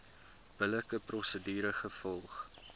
billike prosedure gevolg